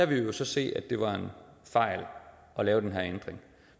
vil vi så se at det var en fejl at lave den her ændring